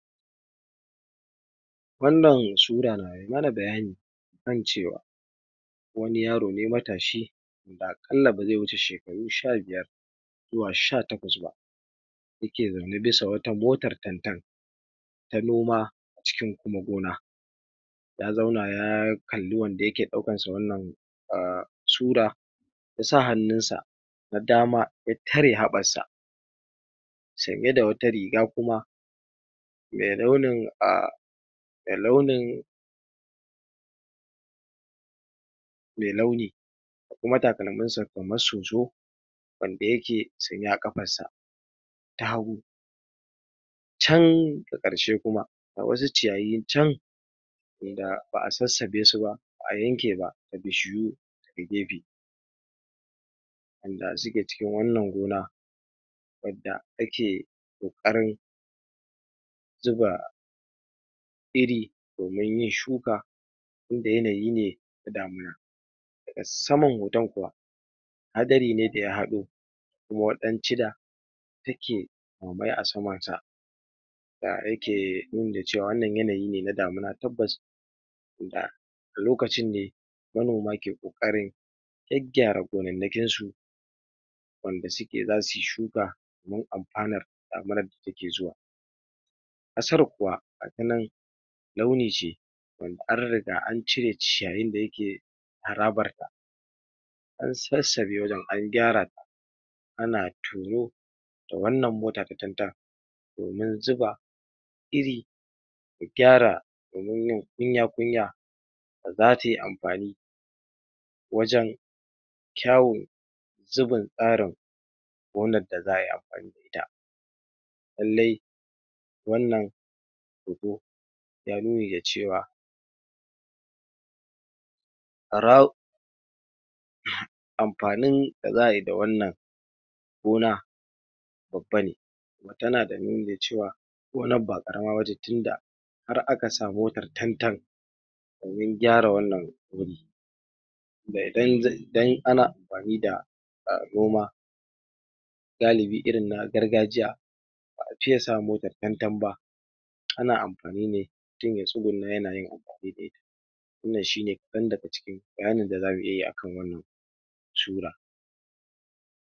Wannan sura na yi mana bayani kan cewa wani yaro ne matashi da akalan ba zai wuce shekaru sha biyar zuwa sha takwas ba, yake zaune bisa wata motar tantan ta noma cikin kuma gona, ya zauna ya kalli wanda yake ɗaukansa wannan ah sura, ya sa hannunsa na dama ya tare haɓansa, sanye da wata riga kuma me launin ahh me launin me launi da kuma takalminsa kamar soso wanda yake sanye a kafarsa ta hagu, can a karshe kuma ga wasu ciyayi can wanda ba a sasaɓe su ba, ba a yanke ba, da bishiyu a gefe, wanda suke cikin wannan gona, wadda ake kokarin zuba iri domin yin shuka, tunda yanayi ne ta damuna, a saman hoton kuwa hadari ne daya haɗo kuma take mamaye a samanta, da yake nuna cewa wannan yanayi na damuna tabbas da lokacin ne manoma ke kokarin gyagyara gonanakinsu wanda suke za su yi shuka domin amfanar damunar da take zuwa, ƙasar kuwa gatanan launi ce wanda an riga an cire ciyayin da yake harabarta an sasabe wajan, an gyara, ana tono da wannan motar ta tantan domin zuba iri da gyara domin yi kunya-kunya da za ta yi amfani wajan kyawon zubin tsarin wannan da za a yi amfani da ita, lallai wannan hoto ya nuni da cewa amfanin da za a yi da wannan gona babba ne, tana da nuni da cewa gonar ba ƙarama ba ce tunda har aka samu motar tantan domin gyara wannan wuri da idan idan ana amfani da ah noma galibi irin na gargajiya ba a fiya sa motar tantan ba, ana amfani ne mutum ya tsuguna yana yi abu ɗai ɗai. Wannan shine kaɗan daga cikin bayanin da zamu iya yi akan wannan sura. Wannan sura na yi mana bayani kan cewa wani yaro ne matashi da akalan ba zai wuce shekaru sha biyar zuwa sha takwas ba, yake zaune bisa wata motar tantan ta noma cikin kuma gona, ya zauna ya kalli wanda yake ɗaukansa wannan ah sura, ya sa hannunsa na dama ya tare haɓansa, sanye da wata riga kuma me launin ahh me launin me launi da kuma takalminsa kamar soso wanda yake sanye a kafarsa ta hagu, can a karshe kuma ga wasu ciyayi can wanda ba a sasaɓe su ba, ba a yanke ba, da bishiyu a gefe, wanda suke cikin wannan gona, wadda ake kokarin zuba iri domin yin shuka, tunda yanayi ne ta damuna, a saman hoton kuwa hadari ne daya haɗo kuma take mamaye a samanta, da yake nuna cewa wannan yanayi na damuna tabbas da lokacin ne manoma ke kokarin gyagyara gonanakinsu wanda suke za su yi shuka domin amfanar damunar da take zuwa, ƙasar kuwa gatanan launi ce wanda an riga an cire ciyayin da yake harabarta an sasabe wajan, an gyara, ana tono da wannan motar ta tantan domin zuba iri da gyara domin yi kunya-kunya da za ta yi amfani wajan kyawon zubin tsarin wannan da za a yi amfani da ita, lallai wannan hoto ya nuni da cewa amfanin da za a yi da wannan gona babba ne, tana da nuni da cewa gonar ba ƙarama ba ce tunda har aka samu motar tantan domin gyara wannan wuri da idan idan ana amfani da ah noma galibi irin na gargajiya ba a fiya sa motar tantan ba, ana amfani ne mutum ya tsuguna yana yi abu ɗai ɗai. Wannan shine kaɗan daga cikin bayanin da zamu iya yi akan wannan sura.